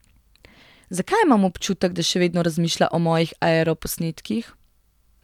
Zakaj imam občutek, da še vedno razmišlja o mojih aeroposnetkih?